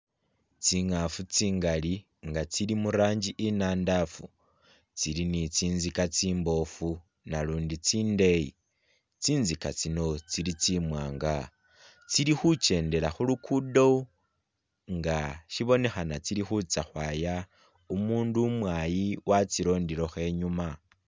Tsingafu tsingali nga tsili murangi inandafu tsili ni tsintsika tsiboofu nalundi tsindeyi tsintsika tsino tsili tsiwaanga tsili khuchendela khulukudo nga shibonekhana tsili khutsa khwaya, umundu umwayi watsilondelekho i'nyuma